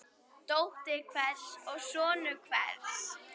Dóttir hvers og sonur hvers.